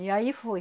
E aí foi.